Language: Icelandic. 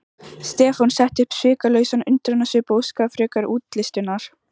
Stefán setti upp svikalausan undrunarsvip og óskaði frekari útlistunar.